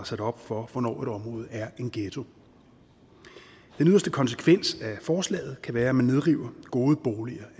sat op for hvornår et område er en ghetto den yderste konsekvens af forslaget kan være at man nedriver gode boliger